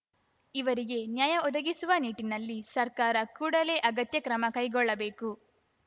ಇವರಿಗೆ ನ್ಯಾಯ ಒದಗಿಸುವ ನಿಟ್ಟಿನಲ್ಲಿ ಸರ್ಕಾರ ಕೂಡಲೇ ಅಗತ್ಯ ಕ್ರಮ ಕೈಗೊಳ್ಳಬೇಕು